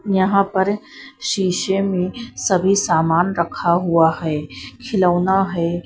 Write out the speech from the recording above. यहां पर शीशे में सभी सामान रखा हुआ है खिलौना है।